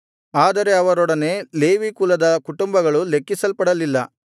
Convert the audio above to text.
ಆದರೆ ಅವರೊಡನೆ ಲೇವಿ ಕುಲದ ಕುಟುಂಬಗಳು ಲೆಕ್ಕಿಸಲ್ಪಡಲಿಲ್ಲ